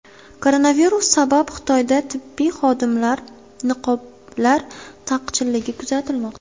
Koronavirus sabab Xitoyda tibbiy niqoblar taqchilligi kuzatilmoqda.